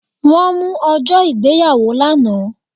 Wọ́n mú ọjọ́ ìgbéyàwó lánàá